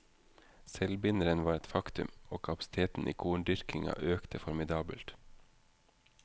Selvbinderen var et faktum, og kapasiteten i korndyrkinga økte formidabelt.